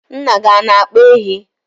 nna gị ọ na-akpa ehi?